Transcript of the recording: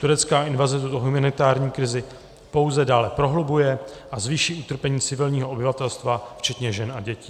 Turecká invaze tuto humanitární krizi pouze dále prohlubuje a zvýší utrpení civilního obyvatelstva včetně žen a dětí;